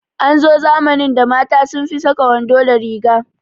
An zo zamanin da mata sun fi saka wando da riga